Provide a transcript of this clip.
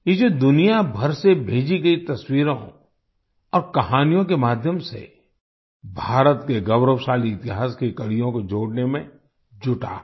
ये जो दुनियाभर से भेजी गयी तस्वीरों और कहानियों के माध्यम से भारत के गौरवशाली इतिहास की कड़ियों को जोड़ने में जुटा है